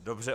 Dobře.